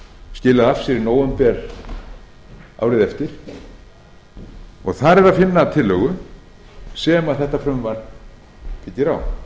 skilaði af sér í nóvember árið eftir og þar er að finna tillögu sem frumvarpið byggir á